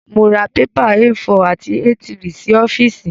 Mọ ra pépà A4 àti A3 sí ọ́fíìsì.